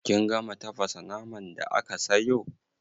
Kin gama tafasa naman da aka sayo?